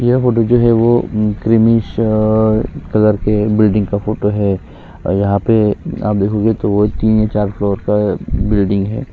यह फोटो जो है वह क्रीमी सा कलर के बिल्डिंग का फोटो है और यहाँ पे बिल्डिंग हैआप देखोगे तीन चार फ्लोर का बिल्डिंग है।